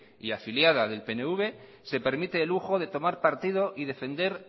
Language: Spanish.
y afiliada del pnv se permite el lujo de tomar partido y defender